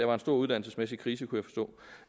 var en stor uddannelsesmæssig krise